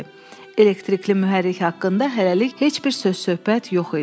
Elektrikli mühərrik haqqında hələlik heç bir söz-söhbət yox idi.